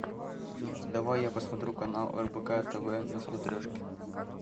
давай я посмотрю канал рбк тв на смотрешке